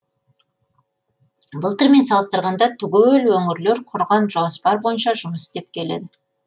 былтырмен салыстырғанда түгел өңірлер құрған жоспар бойынша жұмыс істеп келеді